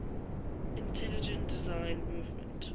intelligent design movement